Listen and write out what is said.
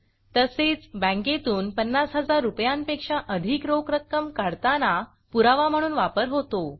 तसेच बँकेतून 50 000 रूपयांपेक्षा अधिक रोख रक्कम काढताना पुरावा म्हणून वापर होतो